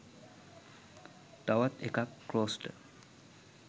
තවත් එකක් ක්‍රෝස්ට